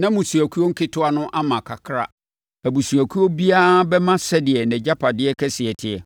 na mmusuakuo nketewa no ama kakraa. Abusuakuo biara bɛma sɛdeɛ nʼagyapadeɛ kɛseɛ teɛ.”